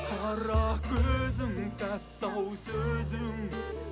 қара көзің тәтті ау сөзің